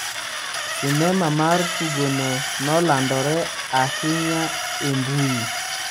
Sinema mar tugono nolandore ahinya e mbui